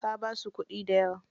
Ka basu kuɗi dayawa.